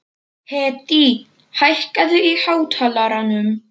Hedí, hækkaðu í hátalaranum.